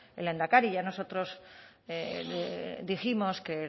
el lehendakari ya nosotros dijimos que